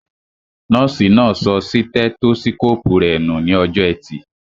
Nọ́ọ̀sì náà sọ sítẹ́tósíkóòpù rẹ nù ní ọjọ́ọ ẹtì